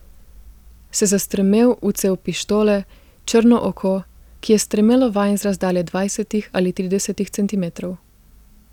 Se zastrmel v cev pištole, črno oko, ki je strmelo vanj z razdalje dvajsetih ali tridesetih centimetrov.